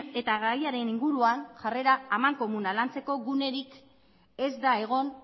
eta gaiaren inguruan jarrera amankomuna lantzeko gunerik ez da egon